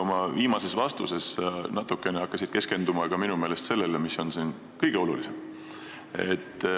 Oma viimases vastuses hakkasid sa minu meelest natukene keskenduma ka sellele, mis on siin kõige olulisem.